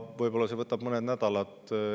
Võib-olla see võtab mõned nädalad.